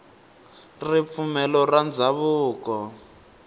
ripfumelo ra ndhavuko